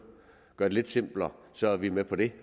gøre det lidt simplere så er vi med på det